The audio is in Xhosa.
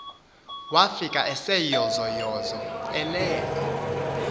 wafika eseyozoyozo elele